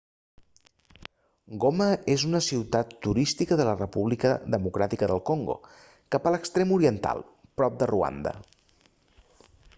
goma és una ciutat turística de la república democràtica del congo cap a l'extrem oriental prop de ruanda